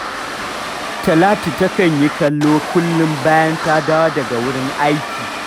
Talatu takan yin kallo kullum bayan ta dawo daga wurin aiki